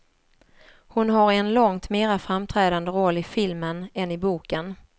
Hon har en långt mera framträdande roll i filmen än i boken.